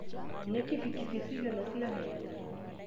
Nĩ kibikibi cigana ciaheanirwo